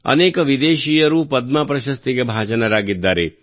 ಅನೇಕ ವಿದೇಶೀಯರೂ ಪದ್ಮ ಪ್ರಶಸ್ತಿಗೆ ಭಾಜನರಾಗಿದ್ದಾರೆ